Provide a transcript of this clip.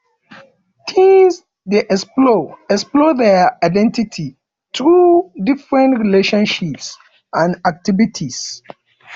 teens dey explore explore dier identity through different friendships and activities